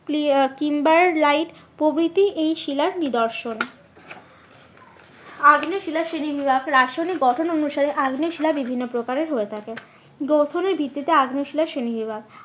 প্রভৃতি এই শিলার নিদর্শন আগ্নেয় শিলার শ্রেণী বিভাগ, রাসায়নিক গঠন অনুসারে আগ্নেয় শিলা বিভিন্ন প্রকারের হয়ে থাকে। গ্রথনের ভিত্তিতে আগ্নেয় শিলার শ্রেণী বিভাগ